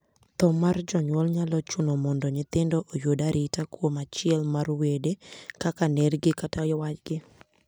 Thoo mar janyuol nyalo chuno mondo nyithindo oyud arita kuom achiel mar wede, kaka nergi, kata waygi.